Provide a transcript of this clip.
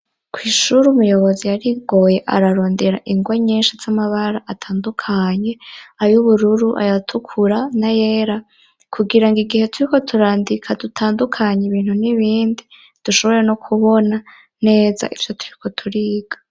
Kw'ishure umuyobozi yarigoye ararondera ingwa nyinshi z'amabara atandukanye ay'ubururu, ayatukura n'ayera kugira ngo igihe turiko turandika dutandukanye ibintu n'ibindi dushobore no kubona neza ivyo turiko turiga.